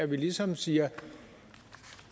vi ligesom siger